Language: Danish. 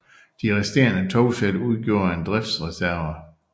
De resterende togsæt udgjorde en driftsreserve